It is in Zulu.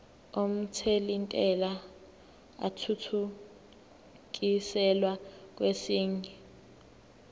omthelintela athuthukiselwa kwesinye